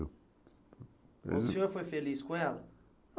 Eu não O senhor foi feliz com ela?